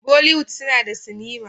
Bolliwood una da cinema